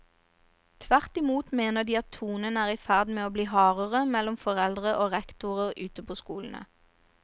Tvert i mot mener de at tonen er i ferd med å bli hardere mellom foreldre og rektorer ute på skolene.